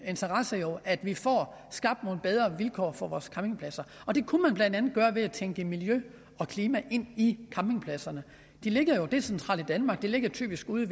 interesse jo at vi får skabt nogle bedre vilkår for vores campingpladser og det kunne man blandt andet gøre ved at tænke miljø og klima ind i campingpladserne de ligger jo decentralt i danmark de ligger typisk ude